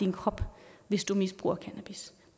krop hvis de misbruger cannabis